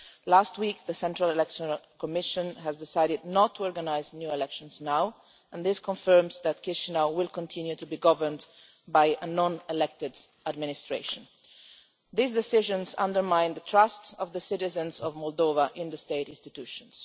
Last week, the Central Election Commission decided not to organise new elections and this confirms that Chișinău will continue to be governed by a non elected administration. These decisions undermine the trust of the citizens of Moldova in the state institutions.